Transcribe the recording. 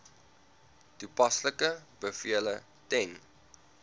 toepaslike bevele ten